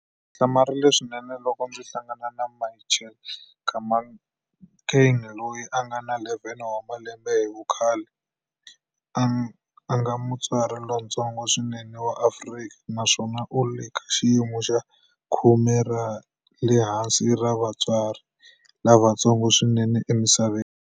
Hlamarile swinene loko ndzi hlangana na Michelle Nkamankeng loyi a nga na 11 wa malembe hi vukhale, a nga mutsari lontsongo swinene wa Afrika naswona u le ka xiyimo xa khume ra le henhla ra vatsari lavatsongo swinene emisaveni.